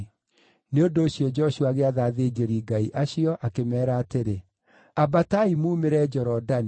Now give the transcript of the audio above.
Nĩ ũndũ ũcio Joshua agĩatha athĩnjĩri-Ngai acio, akĩmeera atĩrĩ, “Ambatai mumĩre Jorodani.”